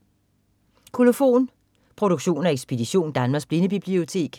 Kolofon